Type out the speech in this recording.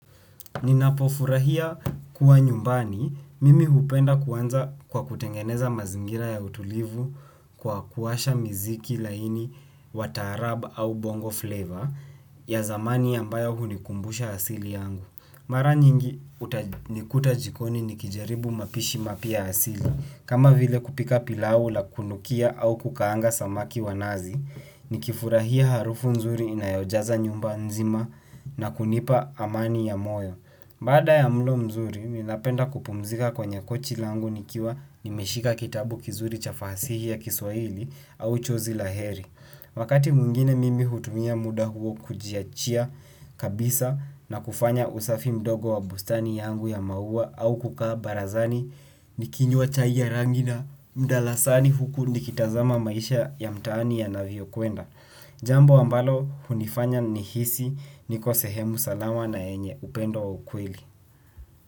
Ninapofurahia kuwa nyumbani, mimi hupenda kuanza kwa kutengeneza mazingira ya utulivu kwa kuwasha miziki laini wa taarab au bongo flavor ya zamani ambayo hunikumbusha asili yangu. Mara nyingi utanikuta jikoni nikijaribu mapishi mapya asili. Kama vile kupika pilau la kunukia au kukaanga samaki wa nazi, nikifurahia harufu nzuri inayojaza nyumba nzima na kunipa amani ya moyo. Baada ya mlo mzuri, ninapenda kupumzika kwenye kochi langu nikiwa nimeshika kitabu kizuri cha fasihi ya kiswahili au chozi la heri. Wakati mwingine mimi hutumia muda huo kujiachia kabisa na kufanya usafi mdogo wa bustani yangu ya maua au kukaa barazani ni kinywa chai ya rangi na mdalasani huku nikitazama maisha ya mtaani ya navyo kwenda. Jambo ambalo hunifanya nihisi niko sehemu salama na yenye upendo wa ukweli.